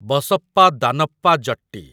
Basappa Danappa Jatti